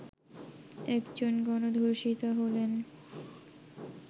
একজন গণধর্ষিতা হলেন